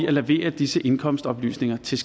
at levere disse indkomstoplysninger til